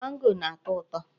Mango na-atọ ụtọ.